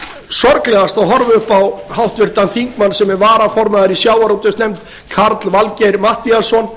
sorglegast að horfa upp á háttvirtan þingmann sem er varaformaður í sjávarútvegsnefnd karl valgeir matthíasson